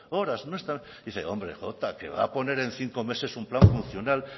horas dice hombre que va a poner en cinco meses un plan funcional